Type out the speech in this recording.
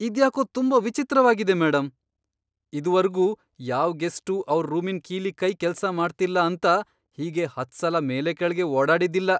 ಇದ್ಯಾಕೋ ತುಂಬಾ ವಿಚಿತ್ರವಾಗಿದೆ ಮೇಡಂ! ಇದುವರ್ಗೂ ಯಾವ್ ಗೆಸ್ಟೂ ಅವ್ರ್ ರೂಮಿನ್ ಕೀಲಿಕೈ ಕೆಲ್ಸ ಮಾಡ್ತಿಲ್ಲ ಅಂತ ಹೀಗೆ ಹತ್ಸಲ ಮೇಲೆ ಕೆಳ್ಗೆ ಓಡಾಡಿದ್ದಿಲ್ಲ.